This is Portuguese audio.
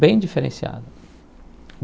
Bem diferenciado.